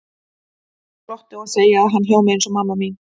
Ég glotti og segi að hann hljómi eins og mamma mín.